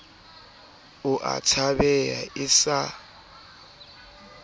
o a tshabeha e sa